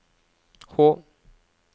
H